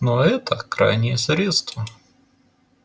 но это крайнее средство